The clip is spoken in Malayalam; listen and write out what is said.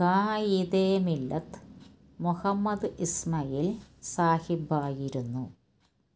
ഖാഇദെമില്ലത്ത് മുഹമ്മദ് ഇസ്മായിൽ സാഹിബായിരുന്നു